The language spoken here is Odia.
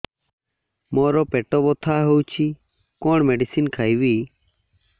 ମୋର ପେଟ ବ୍ୟଥା ହଉଚି କଣ ମେଡିସିନ ଖାଇବି